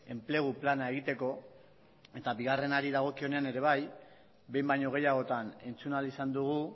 enplegu plana egiteko eta bigarrenari dagokionean ere bai behin baino gehiagotan entzun ahal izan dugu